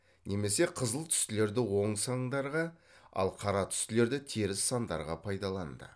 немесе қызыл түстілерді оң сандарға ал қара түстілерді теріс сандарға пайдаланды